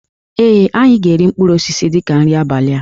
Ee, anyị ga-eri mkpụrụ osisi dị ka nri abalị a